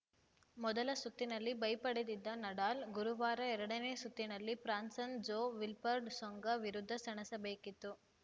ಮೊದಲ ಸುತ್ತಿನಲ್ಲಿ ಬೈ ಪಡೆದಿದ್ದ ನಡಾಲ್‌ ಗುರುವಾರ ಎರಡನೇ ಸುತ್ತಿನಲ್ಲಿ ಫ್ರಾನ್ಸನ್ ಜೋ ವಿಲ್ಬರ್ಡ್ ಸೊಂಗಾ ವಿರುದ್ಧ ಸೆಣಸಬೇಕಿತ್ತು